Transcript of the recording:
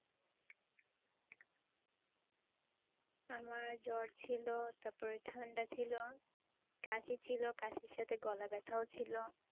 আমার জ্বর ছিল তারপরে ঠান্ডা ছিল, কাশি ছিল, কাশির সাথে গলা ব্যথাও ছিল।